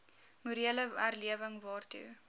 morele herlewing waartoe